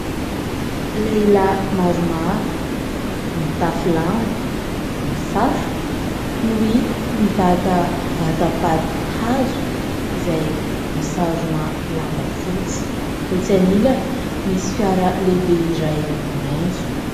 Lehilahy maromaro mitafy lamba, misatroka no hita mibata vatapaty hazo izay misarona lamba fotsy, etsy anilany misy fiara lehibe iray maitso.